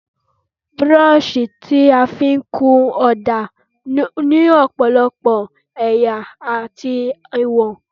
Búrọ́ọ̀ṣì tí a fí ń kun ọ̀dà ní ọ̀pọ̀lọpọ̀ ẹ̀yà àti ìwọ̀n.